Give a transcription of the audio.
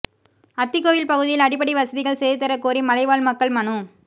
அத்திக்கோவில் பகுதியில் அடிப்படை வசதிகள் செய்துதரக் கோரி மலைவாழ் மக்கள் மனு